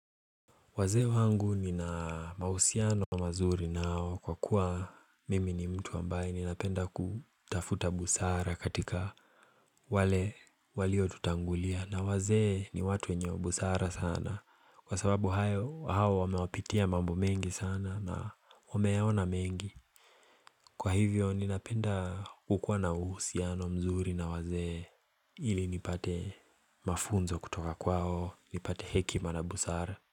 Wazee wangu nina mahusiano mazuri nao kwa kuwa mimi ni mtu ambaye ninapenda kutafuta busara katika wale waliotutangulia. Na wazee ni watu wenye busara sana kwa sababu hao wamepitia mambo mengi sana na wameona mengi. Kwa hivyo ninapenda kukuwa na uhusiano mzuri na wazee ili nipate mafunzo kutoka kwao nipate hekima na busara.